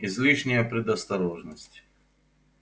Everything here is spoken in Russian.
излишняя предосторожность